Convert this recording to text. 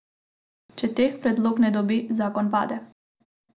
Če teh predlog ne dobi, zakon pade.